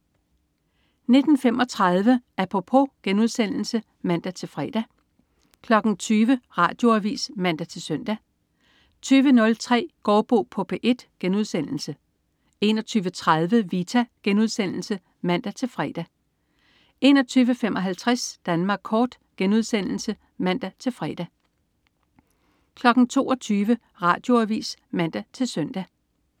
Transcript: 19.35 Apropos* (man-fre) 20.00 Radioavis (man-søn) 20.03 Gaardbo på P1* 21.30 Vita* (man-fre) 21.55 Danmark kort* (man-fre) 22.00 Radioavis (man-søn)